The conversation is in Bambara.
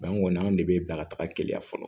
an kɔni an de bɛ bila ka taga teliya fɔlɔ